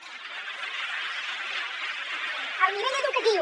el nivell educatiu